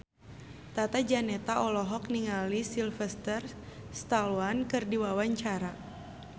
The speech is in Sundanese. Tata Janeta olohok ningali Sylvester Stallone keur diwawancara